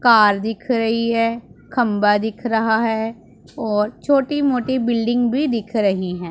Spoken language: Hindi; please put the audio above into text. कार दिख रही है खंबा दिख रहा है और छोटी मोटी बिल्डिंग भी दिख रही है।